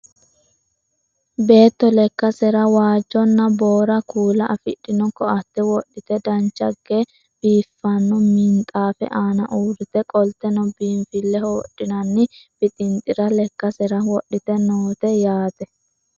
beetto lekkasera waajjonna boora kuula afidhino ko"atte wodhite dancha ge biiffanno minxaafe aana uurrite qolteno biinfilleho wodhinanni bixinxira lekkasera wodhite noote yaate